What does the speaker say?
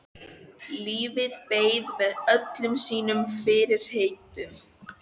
Lífið beið með öllum sínum fyrirheitum.